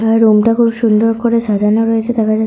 আর room -টা খুব সুন্দর করে সাজানো রয়েছে দেখা--